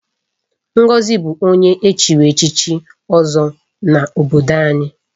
Ngozi bụ onye echiri echichi Ozo n'obodo anyị.